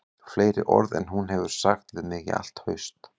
Fleiri orð en hún hefur sagt við mig í allt haust